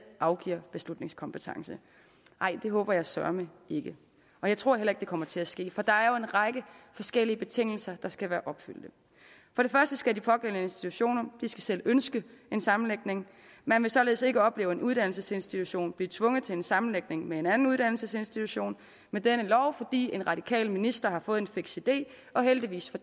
afgiver beslutningskompetence nej det håber jeg søreme ikke og jeg tror heller ikke at det kommer til at ske for der er jo en række forskellige betingelser der skal være opfyldt for det første skal de pågældende institutioner selv ønske en sammenlægning man vil således ikke opleve en uddannelsesinstitution blive tvunget til en sammenlægning med en anden uddannelsesinstitution med denne lov fordi en radikal minister har fået en fiks idé og heldigvis